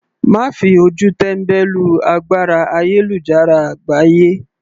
Má fi ojú tẹ́mbẹ́lú agbára ayélujára àgbáyé.